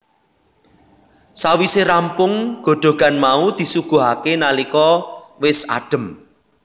Sawise rampung godhogan mau disuguhake nalika wis adem